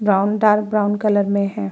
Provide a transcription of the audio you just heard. Brown dark brown colour में हैं।